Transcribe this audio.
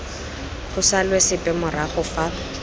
go salwe sepe morago fa